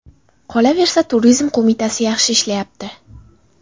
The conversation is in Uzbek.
Qolaversa... Turizm qo‘mitasi yaxshi ishlayapti.